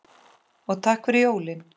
Og takk fyrir jólin.